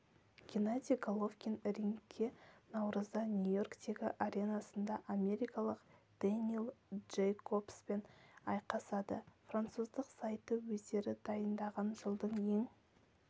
геннадий головкин рингке наурызда нью-йорктегі аренасында америкалық дэниэль джейкобспен айқасады француздық сайты өздері дайындаған жылдың ең